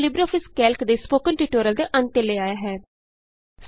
ਇਹ ਸਾਨੂੰ LibreOffice Calc ਦੇ ਸਪੋਕਨ ਟਿਯੂਟੋਰਿਅਲ ਦੇ ਅੰਤ ਤੇ ਲੈ ਆਇਆ ਹੈ